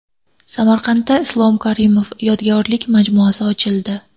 Samarqandda Islom Karimov yodgorlik majmuasi ochildi .